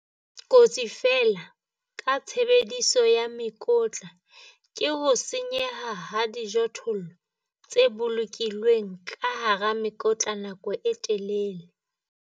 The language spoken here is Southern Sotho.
Kotsi feela ka tshebediso ya mekotla ke ho senyeha ha dijothollo tse bolokilweng ka hara mekotla nakong e telele.